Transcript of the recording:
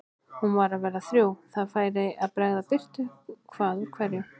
Hún var að verða þrjú, það færi að bregða birtu hvað úr hverju.